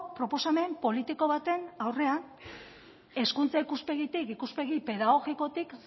proposamen politiko baten aurrean hezkuntza ikuspegitik ikuspegi pedagogikotik